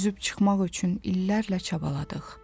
Üzüb çıxmaq üçün illərlə çabaladıq.